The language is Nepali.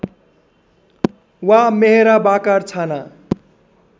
वा मेहराबाकार छाना